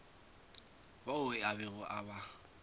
bao a bego a ba